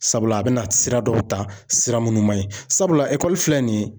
Sabula a bɛna sira dɔw ta sira minnu man ɲi sabula filɛ nin ye.